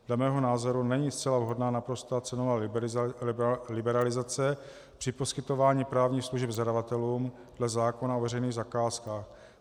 Dle mého názoru není zcela vhodná naprostá cenová liberalizace při poskytování právních služeb zadavatelům dle zákona o veřejných zakázkách.